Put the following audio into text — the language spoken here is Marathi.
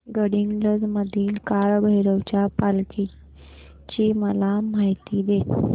गडहिंग्लज मधील काळभैरवाच्या पालखीची मला माहिती दे